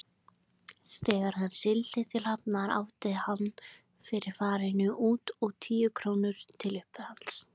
Þegar hann sigldi til Hafnar átti hann fyrir farinu út og tíu krónur til uppihalds.